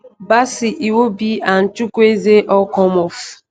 bassey iwobi and chukwueze all come off.